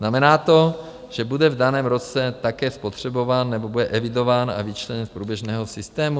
Znamená to, že bude v daném roce také spotřebován, nebo bude evidován a vyčleněn z průběžného systému?